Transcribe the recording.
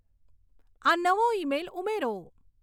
આ નવો ઈમેઈલ ઉમેરો